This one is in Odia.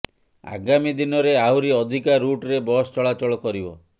ଆଗାମୀ ଦିନରେ ଆହୁରି ଅଧିକା ରୁଟ୍ରେ ବସ ଚଳାଚଳ କରିବ